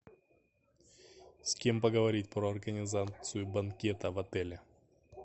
с кем поговорить про организацию банкета в отеле